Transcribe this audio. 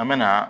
An bɛ na